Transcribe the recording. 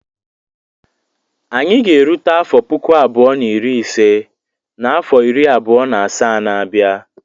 Anyị ga-erute afọ puku abụọ na iri ise n'afọ iri abụọ na asaa na-abịa.